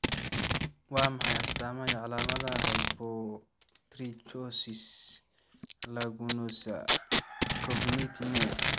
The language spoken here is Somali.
Waa maxay astamaha iyo calaamadaha Hypertrichosis lanuginosa congenita?